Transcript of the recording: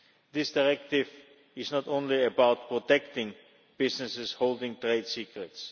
This directive is not only about protecting businesses holding trade secrets